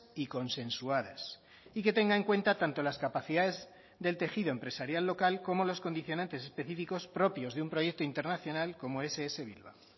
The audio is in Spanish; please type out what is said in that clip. y consensuadas y que tenga en cuenta tanto las capacidades del tejido empresarial local como los condicionantes específicos propios de un proyecto internacional como ess bilbao